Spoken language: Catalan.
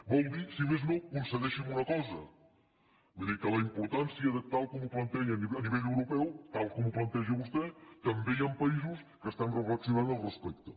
vol dir si més no concedeixi’m una cosa vull dir que la importància de tal com ho planteja a nivell europeu tal com ho planteja vostè també hi han països que estan reflexionant al respecte